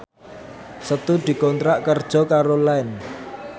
Setu dikontrak kerja karo Line